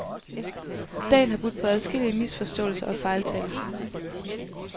Dagen har budt på adskillige misforståelser og fejltagelser.